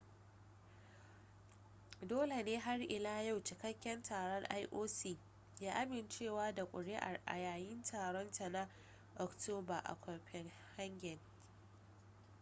dole ne har ila yau cikakken taron ioc ya amincewa da ƙuri'ar a yayin taron ta na oktoba a copenhagen